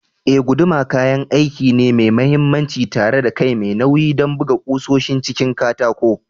Eh, guduma kayan aiki ne mai mahimmanci tare da kai mai nauyi don buga ƙusoshin cikin katako.